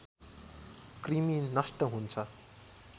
कृमि नष्ट हुन्छ